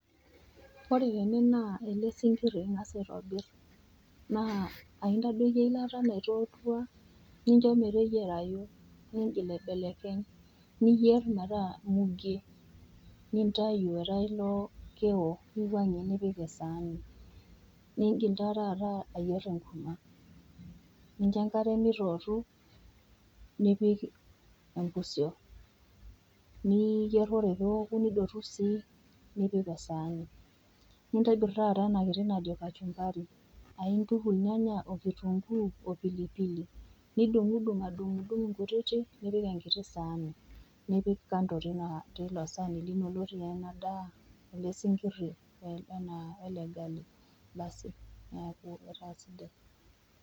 Ore tene naa ele sinkir ing'as aitobir, naa aintadoiki eilata naitoitua nincho meteyiarayu, ningil aibelekeny, niyer metaa mugie nintai etaa ilo keo, niwang'ie nipik esaani. Ningil taa taata ayier enkurma nincho enkare meitoutu, nipik impusio niyer ore pee eoku nidotu sii nipik esaani. Nintobir taata ena kiti najo kachumbari aintuku ilnyanya okitunguu, opilipili. Nidung'udung, adung'udung inkutiti nipik esaani nipik kando teilo saani lino lotii ena daa, ele sinkiri welde gali, asi neaku etaa sidai.